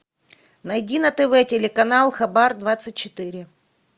найди на тв телеканал хабар двадцать четыре